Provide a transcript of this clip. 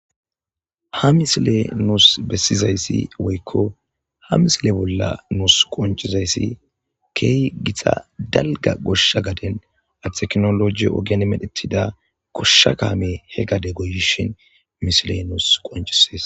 ha misile nuus bessizayssi woykko ha misile bolla nuus qonchizayssi keey githa dalga goshsha gaden arteknoloji oganemedhetida goshsha kaame he gade goyishin misile nuus qonchisees